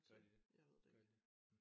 Gør de det gør de det hm